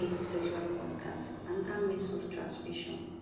im make sexual contact anoda means of transmission